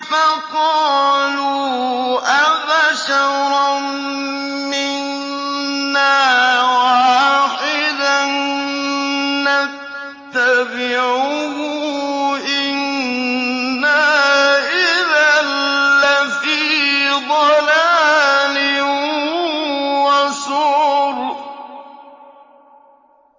فَقَالُوا أَبَشَرًا مِّنَّا وَاحِدًا نَّتَّبِعُهُ إِنَّا إِذًا لَّفِي ضَلَالٍ وَسُعُرٍ